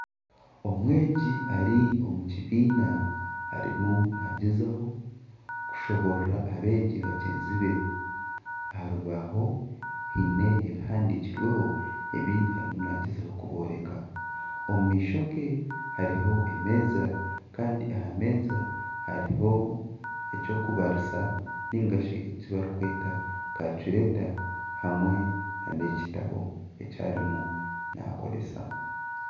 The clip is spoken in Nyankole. Omweegi Ari omu kibiina arimu nagyezaho kushoborora abeegi bagyenzi be aha rubaaho haine ebihandikirweho ebi arimu nagyezaho kubooreka omumaisho ge hariho emeeza Kandi ahameeza hariho ekyokubarisa ninga shi ekibarikweta kalicureeta hamwe nana ekitabo ekyarimu nakoresa